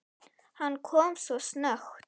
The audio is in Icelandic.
Hann kom svo snöggt.